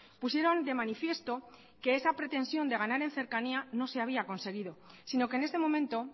pusieron de manifiesto que esa pretensión de ganar en cercanía no se había conseguido sino que en este momento